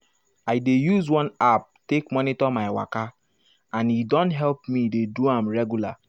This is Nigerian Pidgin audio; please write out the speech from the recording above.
i dey use one app take monitor my waka and e don help me dey do am regular.